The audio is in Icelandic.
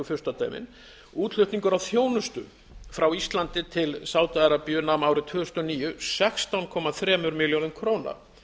furstadæmin útflutningur á þjónustu frá íslandi til sádi arabíu nam árið tvö þúsund og níu sextán komma þremur milljörðum króna